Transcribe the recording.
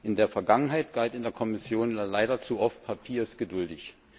In der Vergangenheit galt in der Kommission leider zu oft Papier ist geduldig.